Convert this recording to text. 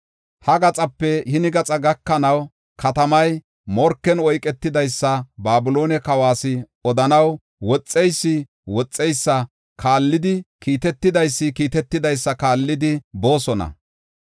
Ha gaxape hini gaxa gakanaw, katamay morken oyketidaysa Babiloone kawas odanaw, woxeysi woxeysa kaallidi, kiitetidaysi kiitetidaysa kaallidi boosona.